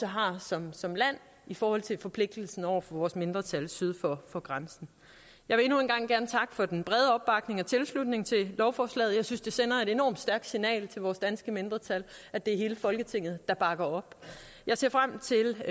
har som som land i forhold til forpligtelsen over for vores mindretal syd for for grænsen jeg vil endnu en gang gerne for den brede opbakning og tilslutning til lovforslaget jeg synes det sender et enormt stærkt signal til vores danske mindretal at det er hele folketinget der bakker op jeg ser frem til